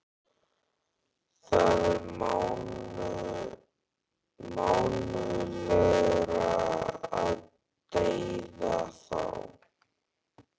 Það er mannúðlegra að deyða þá.